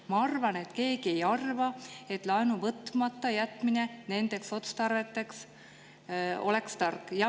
Ma arvan, et keegi ei arva, et laenu võtmata jätmine nendeks otstarveteks oleks tark.